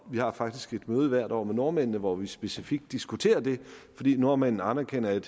vi har faktisk et møde hvert år med nordmændene hvor vi specifikt diskuterer det fordi nordmændene anerkender at